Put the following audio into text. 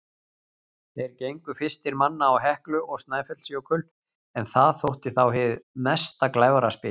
Þeir gengu fyrstir manna á Heklu og Snæfellsjökul, en það þótti þá hið mesta glæfraspil.